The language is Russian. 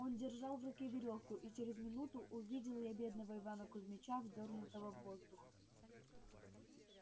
он держал в руке верёвку и через минуту увидел я бедного ивана кузмича вздёрнутого в воздух